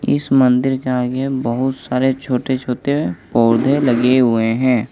इस मंदिर के आगे बहुत सारे छोटे छोटे पौधे लगे हुए हैं।